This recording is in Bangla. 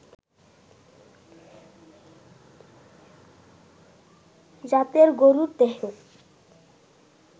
জাতের গরুর দেহে